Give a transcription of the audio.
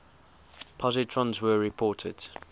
positrons were reported